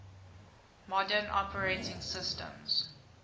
modern operating systems